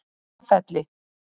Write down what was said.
Móafelli